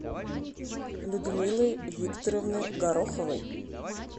людмилы викторовны гороховой